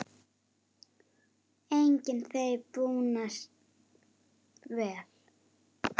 Einnig þeim búnast vel.